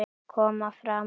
Koma fram!